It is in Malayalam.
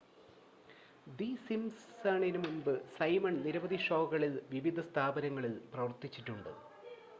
ദി സിംസൺസിന് മുമ്പ് സൈമൺ നിരവധി ഷോകളിൽ വിവിധ സ്ഥാനങ്ങളിൽ പ്രവർത്തിച്ചിട്ടുണ്ട്